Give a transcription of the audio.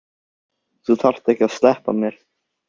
Þú þarft ekki að sleppa mér.